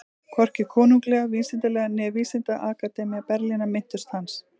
Hvorki Konunglega vísindafélagið né Vísindaakademía Berlínar minntust hans.